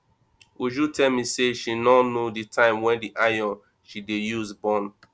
uju tell me say she no know the time wen the iron she dey use burn